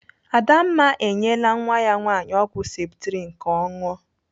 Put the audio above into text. Adamma enyela nwa ya nwaanyị ọgwụ septrin ka ọ ṅụọ.